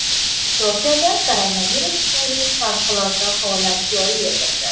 Tokioda koronavirus tufayli favqulodda holat joriy etildi.